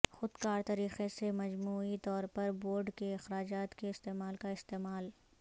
خود کار طریقے سے مجموعی طور پر بورڈ کے اخراجات کے استعمال کا استعمال